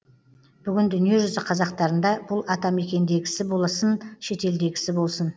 бүгін дүниежүзі қазақтарында бұл атамекендегісі болсын шетелдегісі болсын